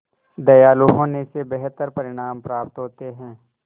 दयालु होने से बेहतर परिणाम प्राप्त होते हैं